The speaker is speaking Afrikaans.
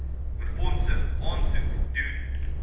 befondsing aansoek doen